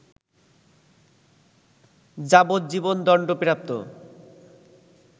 যাবজ্জীবন দণ্ডপ্রাপ্ত